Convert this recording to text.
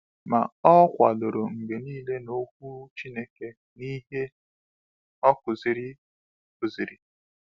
Ma o kwadoro mgbe niile n’Okwu Chineke n’ihe o kụziri. kụziri.